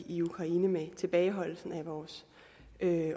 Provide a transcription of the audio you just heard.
i ukraine med tilbageholdelsen af vores